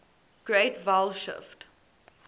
great vowel shift